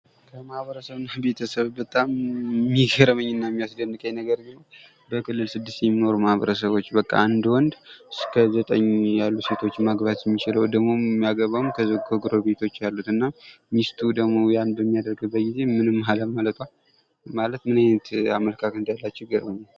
ከማህበረሰብ እና ቤተሰብ በጣም የሚገርመኝ እና የሚያስደንቀኝ ነገር ቢኖር በክልል ስድስት የሚኖሩ ማህበረሰቦች በቃ አንድ ወንድ እስከ ዘጠኝ ያሉ ሴቶችን መግባት የሚችለው ደግሞ የሚያገባውም ከዛው ከጎረቤቶች ያሉትን እና ሚስቱ ደግሞ ያንን በሚያደርግበት ጊዜ ምንም አለማለቷ ማለት ምን አይነት አመለካከት እንዳላቸው ይገረመኛል ።